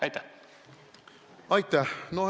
Aitäh!